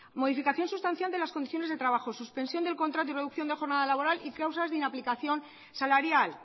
modificación sustancial de las condiciones de trabajos suspensión del contrato y reducción de jornada laboral y causas de inaplicación salarial